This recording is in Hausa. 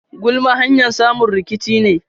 Gulma hanyar samun rikici ne.